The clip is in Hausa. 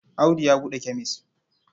Audu ya buɗe kemes.